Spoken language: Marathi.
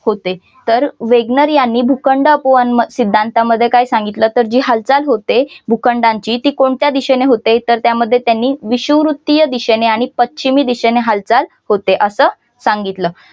होते तर वेगनर यांनी भूखंड उपवन सिद्धांतामध्ये काय सांगितलं तर जी हालचाल होते भूखंडांची तर ती कोणत्या दिशेने होते तर त्यामध्ये त्याने विषुववृत्तीय दिशेने आणि पश्चिम दिशेने हालचाल होते असं सांगितलं.